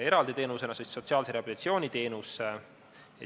Eraldi teenus on sotsiaalse rehabilitatsiooni teenus.